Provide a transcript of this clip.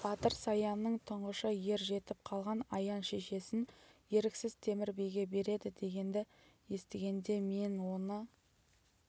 батыр саянның тұңғышы ер жетіп қалған аян шешесін еріксіз темір биге береді дегенді естігенде мен оны